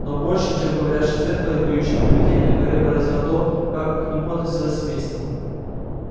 но больше чем говорящее зеркало и воющее привидение гарри поразило то как к нему относилось семейство